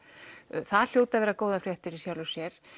það hljóða að vera góðar fréttir í sjálfu sér